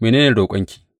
Mene ne roƙonki?